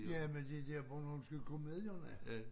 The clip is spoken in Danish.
Jamen de der bornholmske komedierne